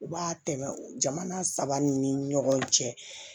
U b'a tɛmɛ jamana saba ni ɲɔgɔn cɛ